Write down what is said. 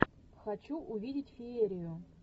хочу увидеть феерию